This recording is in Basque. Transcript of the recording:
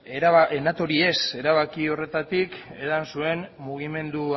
natori ez erabaki horretatik edan zuen mugimendu